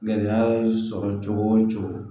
Gɛlɛya ye sɔrɔ cogo o cogo